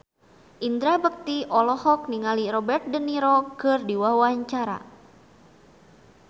Indra Bekti olohok ningali Robert de Niro keur diwawancara